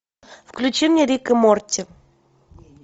включи мне рик и морти